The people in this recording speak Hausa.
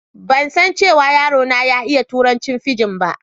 Ban san cewa yaro na ya iƴa turancin fijin ba.